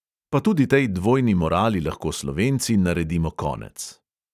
Pa tudi tej dvojni morali lahko slovenci naredimo konec.